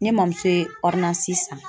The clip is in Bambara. Ne mamuso ye san